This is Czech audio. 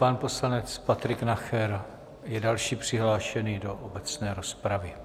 Pan poslanec Patrik Nacher je další přihlášený do obecné rozpravy.